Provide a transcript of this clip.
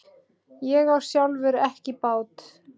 Ég á sjálfur ekki bát.